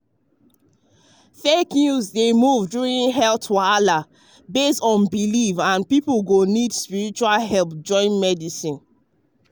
fake news dey move during health wahala based on belief um and people go need spiritual help join medicine.